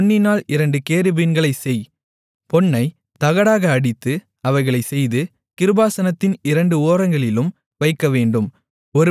பொன்னினால் இரண்டு கேருபீன்களைச் செய் பொன்னைத் தகடாக அடித்து அவைகளைச் செய்து கிருபாசனத்தின் இரண்டு ஓரங்களிலும் வைக்கவேண்டும்